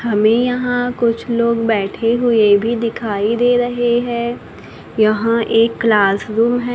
हमें यहां कुछ लोग बैठे हुएं भी दिखाई दे रहें हैं यहां एक क्लासरुम हैं।